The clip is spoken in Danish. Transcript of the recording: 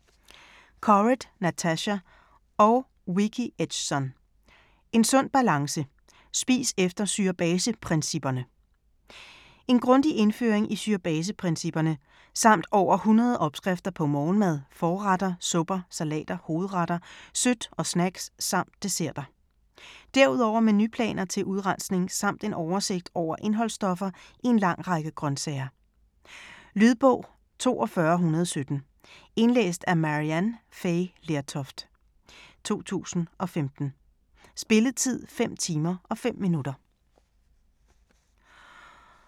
Corrett, Natasha og Vicki Edgson: En sund balance: spis efter syre-base-principperne En grundig indføring i syre-base-principperne, samt over 100 opskrifter på morgenmad, forretter, supper, salater, hovedretter, sødt og snacks samt desserter. Derudover menuplaner til udrensning samt en oversigt over indholdsstoffer i en lang række grøntsager. Lydbog 42117 Indlæst af Maryann Fay Lertoft, 2015. Spilletid: 5 timer, 5 minutter.